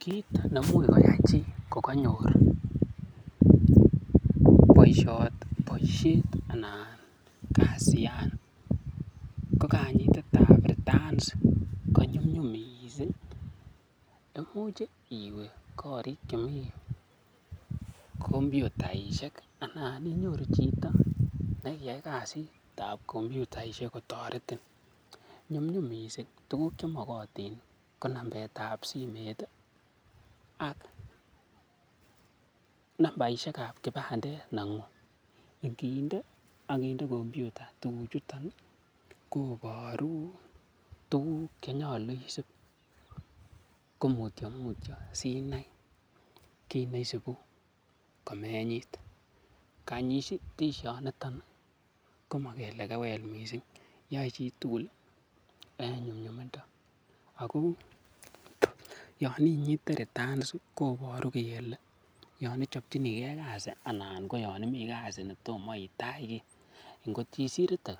Kiit ne imuch koyai chi koganyor boisiet anan kasiyan ko kanyitet ab returns konyumnyum mising. Imuch iwe korik chemi kompyutaishek anan inyoru chito ne kiyai kasit ab kompyutaishek kotoretin nyumnyum mising. Tuguk chemogotin ko nambetab simet ak nambaishek ab kipandet neng'ung. Ngiinde ak kinde kompyuta tuguk chuto koboru tuguk che nyolu isib komutyomutyo sinai kit ne isibu komenyit. Kanyitishoniton komakele kewel mising, yoe chitugul en nyumnyumindo. Ago yon inyite returns koboru kele yon ichopchini ge kasi anan ko yon imi kasi ne tomo itach kiy. Ngot isirte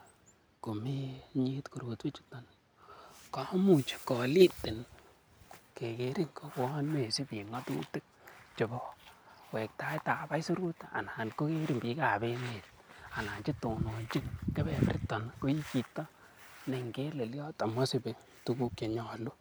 komenyit korotwechuto komuch kolitin kegerin kouwon mesibi ng'atutuik chebo wektaet ab aisurut, anan kogerin biik ab emet anan che tononchin kebeberiton koi chito ne ingelelyot ama isibi tuguk che nyolu.